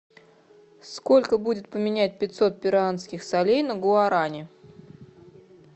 сколько будет поменять пятьсот перуанских солей на гуарани